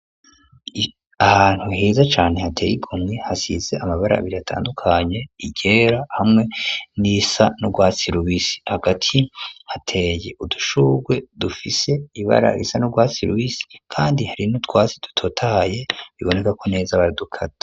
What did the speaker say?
Ahantu heza cane hateye igomwe hasize amabara abiri atandukanye, iryera hamwe n'irisa n’urwatsi rubisi, hagati hateye udushugwe dufise ibara risa n' urwatsi rubisi kandi hari n’utwatsi dutotahaye biboneka neza ko baradukata.